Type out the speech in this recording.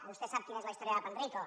vostè sap quina és la història de panrico